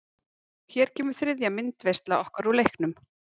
Hér kemur þriðja myndaveisla okkar úr leiknum.